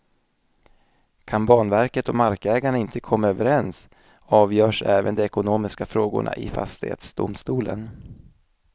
Kan banverket och markägarna inte komma överens avgörs även de ekonomiska frågorna i fastighetsdomstolen.